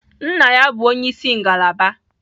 Nna ya bụ onye isi ngalaba